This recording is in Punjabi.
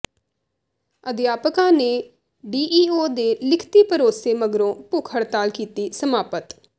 ਅਧਿਆਪਕਾਂ ਨੇ ਡੀਈਓ ਦੇ ਲਿਖਤੀ ਭਰੋਸੇ ਮਗਰੋਂ ਭੁੱਖ ਹੜਤਾਲ ਕੀਤੀ ਸਮਾਪਤ